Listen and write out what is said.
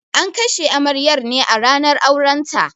An kashe amaryar ne a ranar auren ta